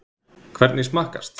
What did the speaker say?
Hvernig smakkast?